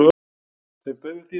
Þeim bauð við því sem þeir sáu.